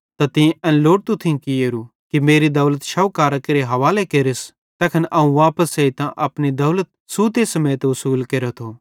त तीं एन लोड़तू थियूं कियोरू कि मेरी दौलत शौकारां केरे हवाले केरस तैखन अवं वापस एइतां अपनी दौलत सूते समेत उसुल केरेथो